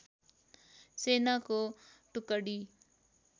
सेनाको टुकडी